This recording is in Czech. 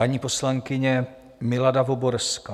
Paní poslankyně Milada Voborská.